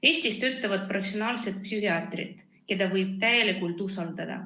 Eestis töötavad professionaalsed psühhiaatrid, keda võib täielikult usaldada.